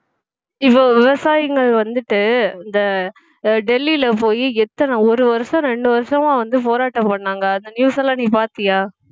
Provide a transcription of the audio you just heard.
இப்போ விவசாயிகள் வந்துட்டு இந்த டெல்லில போயி எத்தனை ஒரு வருஷம் இரண்டு வருஷமா வந்து போராட்டம் பண்ணாங்க அந்த news எல்லாம் நீ பார்த்தியா